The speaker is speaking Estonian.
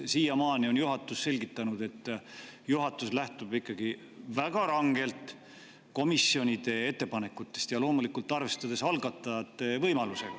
Siiamaani on juhatus selgitanud, et juhatus lähtub ikkagi väga rangelt komisjonide ettepanekutest, loomulikult arvestades algatajate võimalusi.